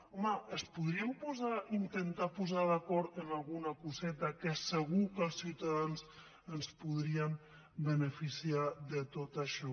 home es podrien intentar posar d’acord en alguna coseta que segur que els ciutadans ens podríem beneficiar de tot això